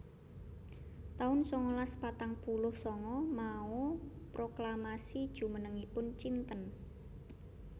taun sangalas patang puluh sanga Mao proklamasi jumenengipun Cinten